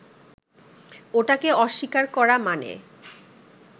ওটাকে অস্বীকার করা মানে